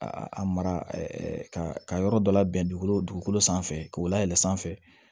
A a mara ka yɔrɔ dɔ labɛn dugukolo dugukolo dugukolo sanfɛ k'o layɛlɛn sanfɛ